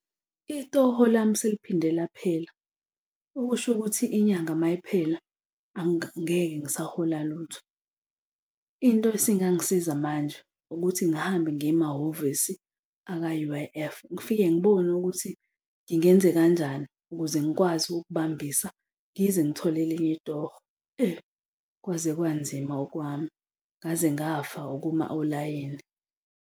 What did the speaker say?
Itoho lami seliphinde laphela okusho ukuthi inyanga uma iphela, angeke ngisahola lutho. Into esingangisiza manje, ukuthi ngihambe ngiye emahhovisi aka-U_I_F, ngifike ngibone ukuthi ngingenze kanjani ukuze ngikwazi ukukubambisa ngize ngithole elinye itoho. Kwaze kwanzima ukwami ngaze ngafa ukuma olayini.